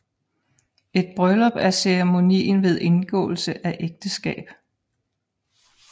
Et bryllup er ceremonien ved indgåelse af ægteskab